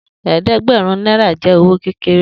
Eedegberun naira jẹ owo kekere.